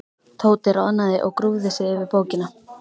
Tóti roðnaði og grúfði sig yfir bókina.